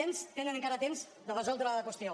tenen encara temps de resoldre la qüestió